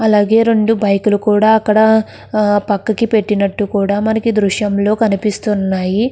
అలాగే రెండు బైక్ లు కూడా అక్కడ ఆ పక్కుకి పెట్టినట్టు కూడా మనకి దృశ్యంలో కనిపిస్తున్నాయి.